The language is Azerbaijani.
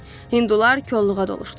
Hindular kolluğa doluşdular.